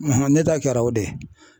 ne ta kɛra o de ye .